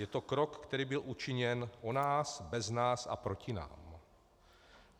Je to krok, který byl učiněn o nás bez nás a proti nám.